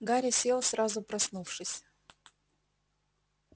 гарри сел сразу проснувшись